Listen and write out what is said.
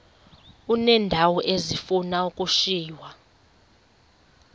uneendawo ezifuna ukushiywa